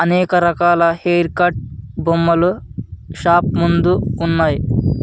అనేక రకాల hair cut బొమ్మలు షాప్ ముందు ఉన్నాయ్.